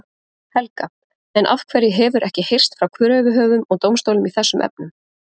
Helga: En af hverju hefur ekki heyrst frá kröfuhöfum og dómstólum í þessum efnum?